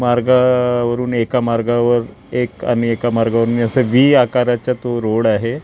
मार्गावरून एका मार्गावर एक आणि एका मार्गावरून अस व्हि आकाराचा तो रोड आहे.